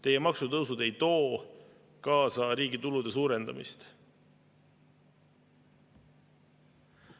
Teie maksutõusud ei too kaasa riigi tulude suurenemist.